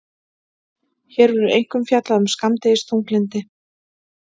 Hér verður einkum fjallað um skammdegisþunglyndi.